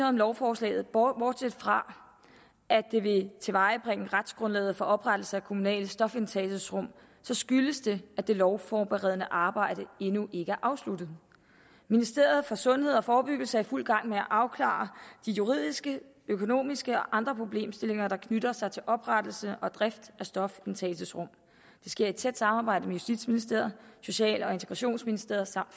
om lovforslaget bortset fra at det vil tilvejebringe retsgrundlaget for oprettelse af kommunale stofindtagelsesrum så skyldes det at det lovforberedende arbejde endnu ikke er afsluttet ministeriet for sundhed og forebyggelse er i fuld gang med at afklare de juridiske økonomiske og andre problemstillinger der knytter sig til oprettelse og drift af stofindtagelsesrum det sker i tæt samarbejde med justitsministeriet social og integrationsministeriet samt